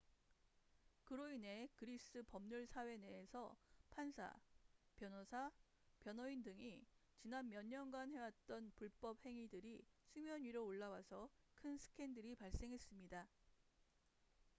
그로 인해 그리스 법률 사회 내에서 판사 변호사 변호인 등이 지난 몇 년간 해왔던 불법 행위들이 수면 위로 올라와서 큰 스캔들이 발생했습니다